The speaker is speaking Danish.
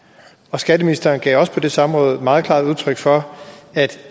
skatteministeren gav også på det samråd meget klart udtryk for at